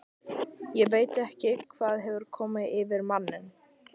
Ég veit ekki hvað hefur komið yfir manninn.